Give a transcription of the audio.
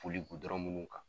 Boli minnu kan